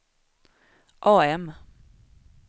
AM